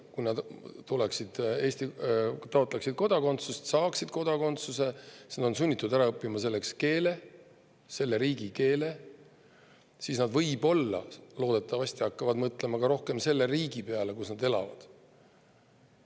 Kui nad taotleksid kodakondsust, siis selleks, et seda saada, oleksid nad sunnitud ära õppima keele, selle riigi keele, ja siis nad loodetavasti hakkaksid rohkem mõtlema selle riigi peale, kus nad elavad.